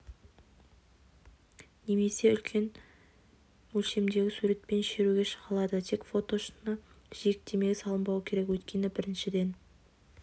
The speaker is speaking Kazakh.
немесе үлкен өлшемдегі суретпен шеруге шыға алады тек фото шыны жиектемеге салынбауы керек өйткені біріншіден